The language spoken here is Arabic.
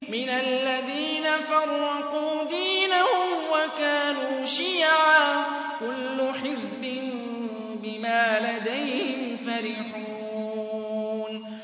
مِنَ الَّذِينَ فَرَّقُوا دِينَهُمْ وَكَانُوا شِيَعًا ۖ كُلُّ حِزْبٍ بِمَا لَدَيْهِمْ فَرِحُونَ